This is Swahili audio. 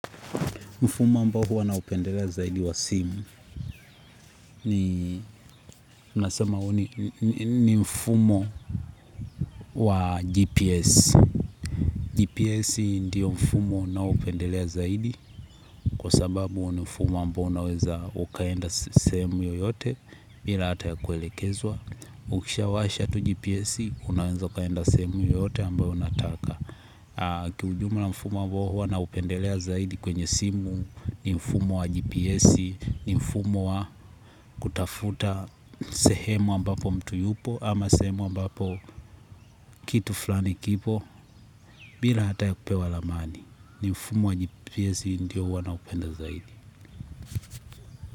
Mfumo ambao huwa naupendelea zaidi wa simu ni mfumo wa GPS. GPS ndiyo mfumo ninaopendelea zaidi kwa sababu ni ufumo ambao unaweza ukaenda sehemu yoyote bila hata ya kuelekezwa. Ukishawasha tu GPS unaweza ukaenda sehemu yoyote ambao unataka. Kiujumla mfumo ambao huwa naupendelea zaidi kwenye simu ni mfumo wa gps. Ni mfumo wa kutafuta sehemu ambapo mtu yupo ama sehemu ambapo kitu flani kipo. Bila hata ya kupewa ramani ni mfumo wa gps ndio huwa naupenda zaidi.